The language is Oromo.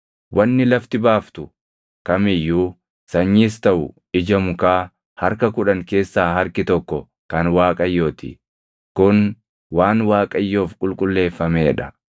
“ ‘Wanni lafti baaftu kam iyyuu sanyiis taʼu ija mukaa harka kudhan keessaa harki tokko kan Waaqayyoo ti; kun waan Waaqayyoof qulqulleeffamee dha.